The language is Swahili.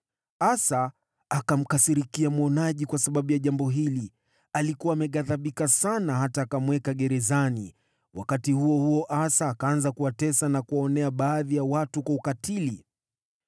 Asa akamkasirikia mwonaji kwa sababu ya jambo hili. Alikuwa ameghadhibika sana hata akamweka gerezani. Wakati huo huo Asa akaanza kuwatesa na kuwaonea baadhi ya watu kwa ukatili.